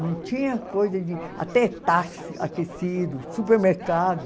Não tinha coisa de... Até táxi aquecido, supermercado.